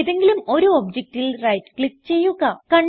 ഏതെങ്കിലും ഒരു ഒബ്ജക്റ്റിൽ റൈറ്റ് ക്ലിക്ക് ചെയ്യുക